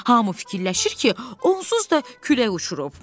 Hamı fikirləşir ki, onsuz da külək uçurub.